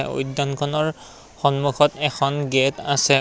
উদ্যানখনৰ সন্মুখত এখন গেট্ আছে।